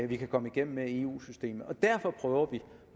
vi kan komme igennem med i eu systemet og derfor prøver vi